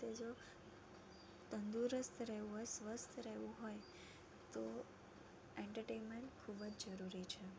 તંદુરસ્ત રહેવું હોય, સ્વસ્થ રહેવું હોય તો entertainment ખૂબ જ જરૂરી છે.